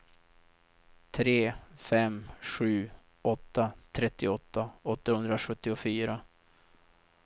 tre fem sju åtta trettioåtta åttahundrasjuttiofyra